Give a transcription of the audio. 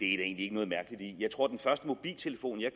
egentlig ikke noget mærkeligt i jeg tror at den første mobiltelefon jeg